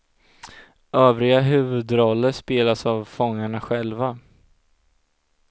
Övriga huvudroller spelas av fångarna själva.